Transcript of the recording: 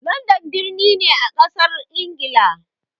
Landan birni ne a ƙasar ingila